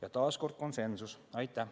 Aitäh!